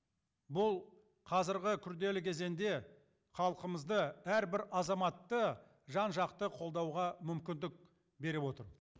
бұл қазіргі күрделі кезеңде халқымызды әрбір азаматты жан жақты қолдауға мүмкіндік беріп отыр